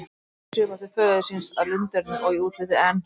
Ölmu svipar til föður síns að lunderni og í útliti, en